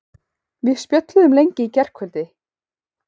Við spjölluðum lengi í gærkvöldi.